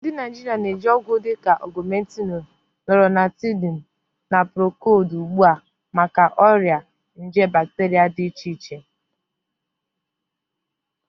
Ndị Naijiria na-eji ọgwụ dịka Ogumentinu, Loratadini, na Procodi ugbu a maka ọrịa nje bacteria dị iche iche